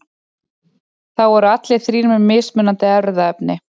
þá eru allir þrír með mismunandi erfðaefni